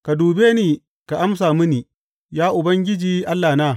Ka dube ni ka amsa mini, ya Ubangiji Allahna.